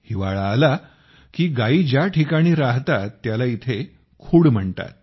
हिवाळा आला की गायी ज्या ठिकाणी राहतात त्याला इथे खुड म्हणतात